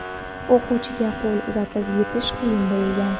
O‘quvchiga qo‘l uzatib yetish qiyin bo‘lgan.